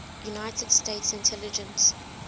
united states intelligence